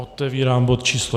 Otevírám bod číslo